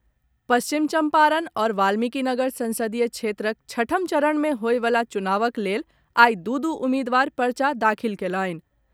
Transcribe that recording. पश्चिम चम्पारण आओर वाल्मिकीनगर संसदीय क्षेत्रक छठम चरण मे होयवला चुनावक लेल आइ दू दू उम्मीदवार पर्चा दाखिल कयलनि।